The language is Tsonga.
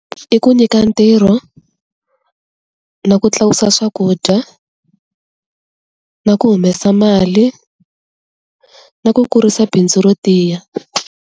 I ku nyika ntirho, na ku tlakusa swakudya, na ku humesa mali, na ku kurisa bindzu ro tiya.